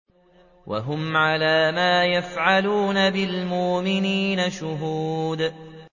وَهُمْ عَلَىٰ مَا يَفْعَلُونَ بِالْمُؤْمِنِينَ شُهُودٌ